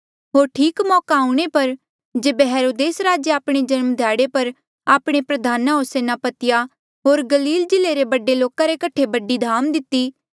होर ठीक मौका आऊणें पर जेबे हेरोदेस राजे आपणे जन्म ध्याड़े पर आपणे प्रधाना होर सेनापतिया होर गलील जिल्ले रे बडे लोका रे कठे बडी धाम दिती